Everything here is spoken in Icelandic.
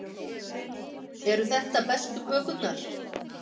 Eru þetta bestu kökurnar?